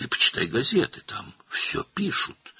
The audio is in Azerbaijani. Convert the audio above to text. Sən qəzetləri oxu, orada hər şeyi yazırlar.